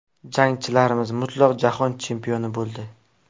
Jangchilarimiz mutlaq jahon chempioni bo‘ldi!.